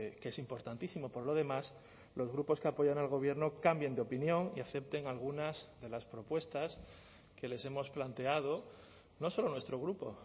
que es importantísimo por lo demás los grupos que apoyan al gobierno cambien de opinión y acepten algunas de las propuestas que les hemos planteado no solo nuestro grupo